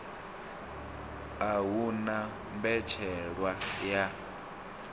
a hu na mbetshelwa ya